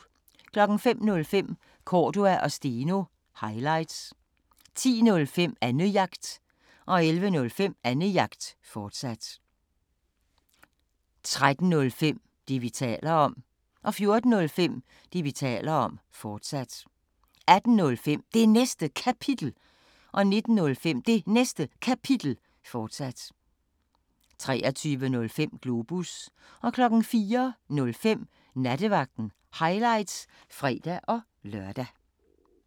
05:05: Cordua & Steno – highlights 10:05: Annejagt 11:05: Annejagt, fortsat 13:05: Det, vi taler om 14:05: Det, vi taler om, fortsat 18:05: Det Næste Kapitel 19:05: Det Næste Kapitel, fortsat 23:05: Globus 04:05: Nattevagten – highlights (fre-lør)